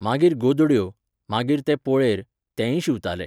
मागीर गोदड्यो, मागीर ते पोळेर, तेंयी शिंवताले.